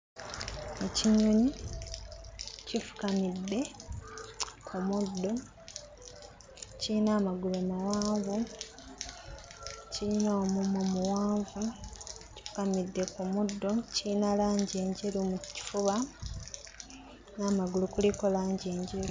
Ekinyonyi kifukamidde ku muddo, kiyina amagulu mawanvu, kiyina omumwa muwanvu. Kifukamidde ku muddo, kiyina langi enjeru mu kifuba, n'amagulu kuliko langi enjeru.